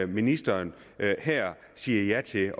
ministeren siger ja til